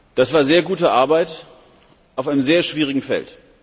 Das war sehr gute Arbeit auf einem sehr schwierigen Feld.